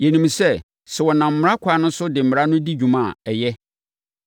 Yɛnim sɛ, sɛ wɔnam mmara ɛkwan so de Mmara no di dwuma a, ɛyɛ.